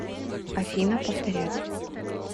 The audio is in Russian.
афина повторять